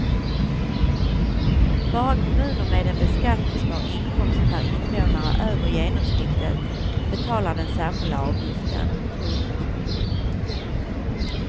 Bara kommuner med en beskattningsbar inkomst per invånare över genomsnittet betalar den särskilda avgiften. punkt